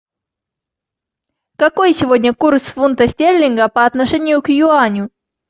какой сегодня курс фунта стерлинга по отношению к юаню